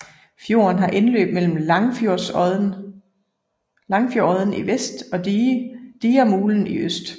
Fjorden har indløb mellem Langfjordodden i vest og Digermulen i øst